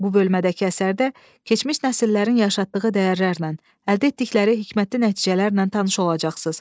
Bu bölmədəki əsərdə keçmiş nəsillərin yaşatdığı dəyərlərlə, əldə etdikləri hikməti nəticələrlə tanış olacaqsız.